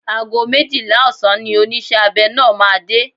Ago méjìlá ọ̀sán ni oníṣẹ́ abẹ náà máa dé.